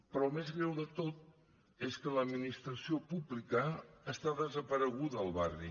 però el més greu de tot és que l’administració pública està desapareguda al barri